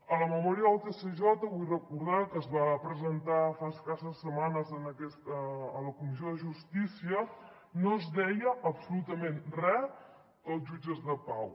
a la memòria del tsj vull recordar que es va presentar fa escasses setmanes a la comissió de justícia no es deia absolutament re dels jutges de pau